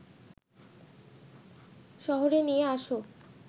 শহরে নিয়ে আস